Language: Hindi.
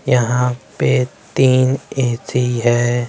यहां पे तीन ए_सी है।